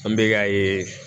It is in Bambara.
An bɛ ka ye